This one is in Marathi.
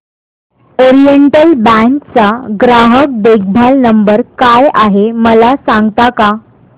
ओरिएंटल बँक चा ग्राहक देखभाल नंबर काय आहे मला सांगता का